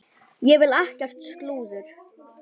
Ég vil ekkert slúður.